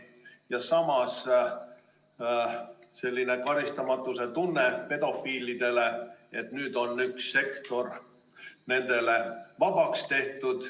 Ja samas selline karistamatuse tunne pedofiilidel, et nüüd on üks sektor nendele vabaks tehtud.